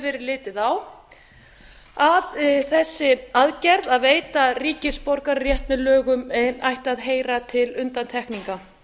verið litið á að þessi aðgerð að veita ríkisborgararétt með lögum ætti að heyra til undantekninga